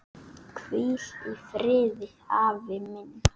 Hvíl í friði, afi minn.